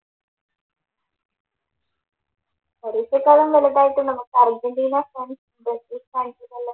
പരീക്ഷക്കെല്ലാം വലുതായിട്ട് നമ്മക്ക് Argentina fans, Brazil ഫാൻസിനെല്ലം